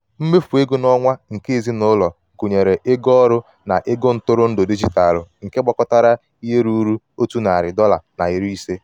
mmefu ego n'onwa nke ezinụlọ gụnyere ego ọrụ na ego ntụrụ ndụ digitalu nke gbakọtara ihe rụrụ otu narị dọla na iri ise..